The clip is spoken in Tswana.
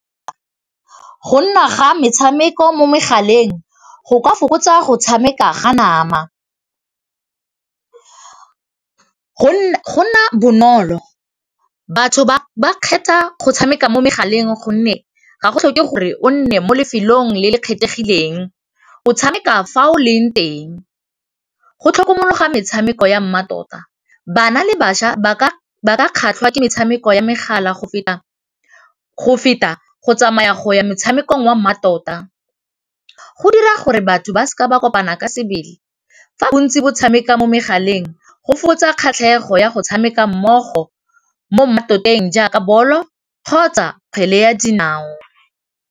Go nna ga metshameko mo megaleng go ka fokotsa go tshameka ga nama go nna bonolo batho ba kgetha go tshameka mo megaleng gonne ga go tlhoke gore o nne mo lefelong le le kgethegileng o tshameka fa o leng teng, go tlhokomologa metshameko ya mmatota bana le bašwa ba ka kgatlha ke metshameko ya megala go feta go tsamaya go ya motshameko wa mmatota, go dira gore batho ba seka ba kopana ka sebele fa bontsi bo tshameka mo megaleng go fokotsa kgatlhego ya go tshameka mmogo mo mmatoteng jaka bolo kgotsa kgwele ya dinao.